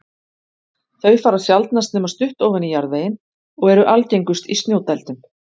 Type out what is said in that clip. Þau fara sjaldnast nema stutt ofan í jarðveginn og eru algengust í snjódældum.